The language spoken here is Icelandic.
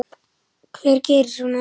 Hver gerir svona?